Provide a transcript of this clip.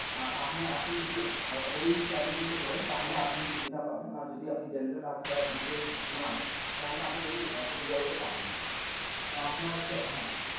আহ আপনার আপনি যদি আহ আপনি যদি ওই category তে পরেন তাহলে আপনি সুবিধা পাবেন আর যদি general ছাড়া BPL নয় তাহলে আপনি ওই সুবিধা গুলো পাবেন না। তো আপনার category হ্যাঁ